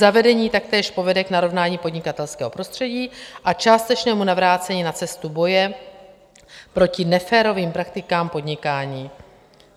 Zavedení taktéž povede k narovnání podnikatelského prostředí a částečnému navrácení na cestu boje proti neférovým praktikám podnikání.